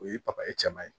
O ye cɛman ye